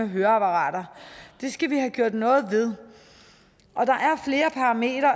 høreapparater det skal vi have gjort noget ved og der